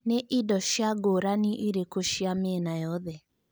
nĩ ĩndo cĩa ngũranĩ ĩrikũ cia mĩena yothe